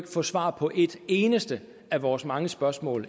få svar på et eneste af vores mange spørgsmål